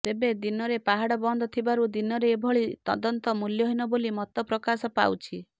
ତେବେ ଦିନରେ ପାହାଡ ବନ୍ଦ ଥିବାରୁ ଦିନରେ ଏଭଳି ତଦନ୍ତ ମୂଲ୍ୟହୀନ ବୋଲି ମତ ପ୍ରକାଶ ପାଉଛି